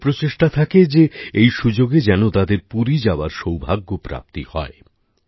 মানুষের প্রচেষ্টা থাকে যে এই সুযোগে যেনো তাদের পুরী যাবার সৌভাগ্য প্রাপ্তি হয়